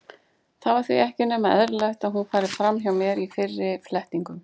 Það var því ekki nema eðlilegt að hún færi fram hjá mér í fyrri flettingum.